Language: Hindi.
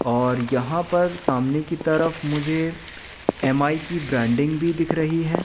और यहां पर सामने की तरफ मुझे एम_आई की ब्रांडिंग भी दिख रही है।